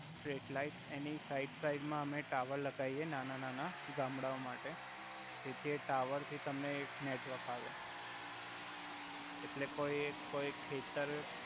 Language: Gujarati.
સટ્રેટ લાઇટ એની સાઇડ સાઇડ મા અમે ટાવર લગવિએ નાના નાના ગામ્ડાઓ માટે જેથી એ ટાવર થી તમને એક નેટવર્ક આવે એટલે કોઇ એક ખેતર